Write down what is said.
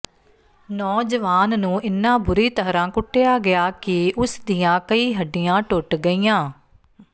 ਨੌਜਵਾਨ ਨੂੰ ਇੰਨਾ ਬੁਰੀ ਤਰ੍ਹਾਂ ਕੁੱਟਿਆ ਗਿਆ ਕਿ ਉਸ ਦੀਆਂ ਕਈ ਹੱਡੀਆਂ ਟੁੱਟ ਗਈਆਂ